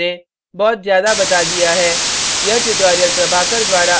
मुझे लगता है मैंने बहुत ज़्यादा बता दिया है